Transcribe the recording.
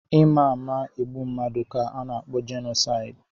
Ịma ama egbu mmadụ ka ana-akpọ jenosaidi.